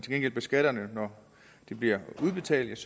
ikke beskatter dem når de bliver udbetalt